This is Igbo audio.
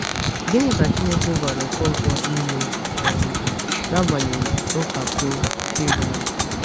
Gịnị ka Chineke gwara Ọkọnkwo ime um n’agbanyeghị mpako Firaun?